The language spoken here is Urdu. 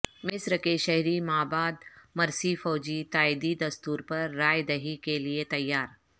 مصر کے شہری مابعد مرسی فوجی تائیدی دستور پر رائے دہی کیلیے تیار